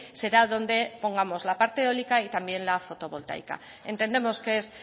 será donde pongamos la parte eólica y también la fotovoltaica entendemos que es